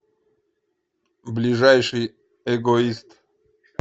ближайший эгоист